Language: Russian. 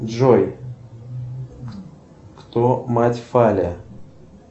джой кто мать фаля